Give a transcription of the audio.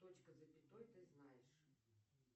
точка с запятой ты знаешь